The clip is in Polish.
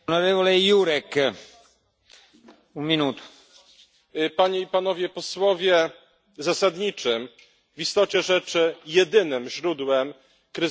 Zasadniczym, a w istocie rzeczy jedynym źródłem kryzysu systemu Schengen systemu otwartych granic jest nielegalna imigracja.